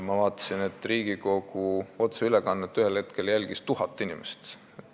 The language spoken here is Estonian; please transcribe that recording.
Ma vaatasin, et Riigikogu otseülekannet jälgis ühel hetkel tuhat inimest.